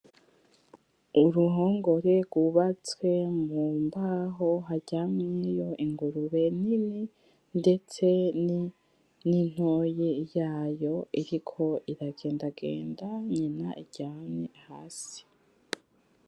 Uruhongore rwubatswe mumbaho haryamyeyo ingurube nini ndetse nintoyi yayo iriko iragenda genda nyina iryamye hasi .